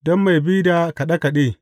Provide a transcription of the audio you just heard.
Don mai bi da kaɗe kaɗe.